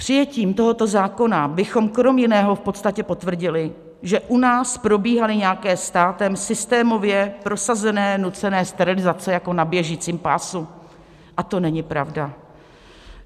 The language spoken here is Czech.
Přijetím tohoto zákona bychom krom jiného v podstatě potvrdili, že u nás probíhaly nějaké státem systémově prosazené nucené sterilizace jako na běžícím pásu, a to není pravda.